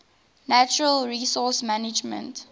natural resource management